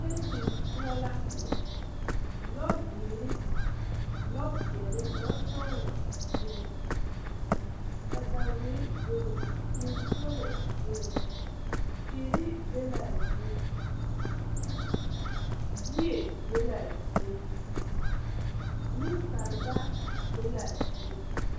Teesen poɔ la lɔzeere lɔ peɛle lɔ sɔglɔ bebe katawirre bebe vūū poolo bebe teere be laa zie yie be laa zie neŋsaleba be laa zie.